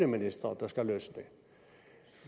ministre der skal løse dem